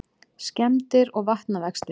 Skemmdir og vatnavextir